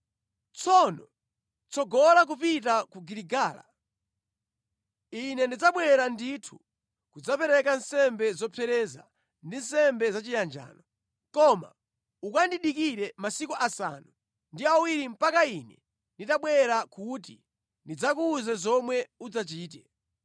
“Tsono tsogola kupita ku Giligala. Ine ndidzabwera ndithu kudzapereka nsembe zopsereza ndi nsembe zachiyanjano. Koma ukandidikire masiku asanu ndi awiri mpaka ine nditabwera kuti ndidzakuwuze zomwe udzachite.”